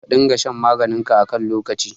Ka dinga shan maganinka a kan lokaci.